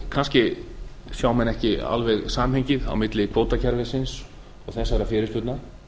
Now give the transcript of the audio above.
kannski sjá menn ekki alveg samhengið á milli kvótakerfisins og þessara fyrirspurna